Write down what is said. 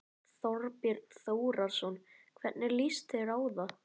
Þorbjörn Þórðarson: Hvernig líst þér á það?